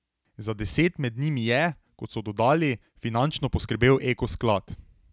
Za deset med njimi je, kot so dodali, finančno poskrbel Ekosklad.